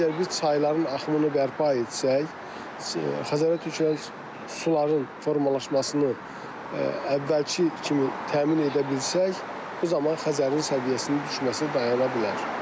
Əgər biz çayların axımını bərpa etsək, Xəzərə töküləcək suların formalaşmasını əvvəlki kimi təmin edə bilsək, bu zaman Xəzərin səviyyəsinin düşməsi dayana bilər.